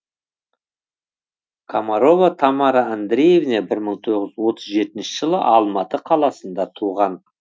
комарова тамара андреевна бір мың тоғыз жүз отыз жетінші жылы алматы қаласында туған